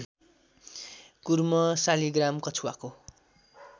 कुर्म शालिग्राम कछुवाको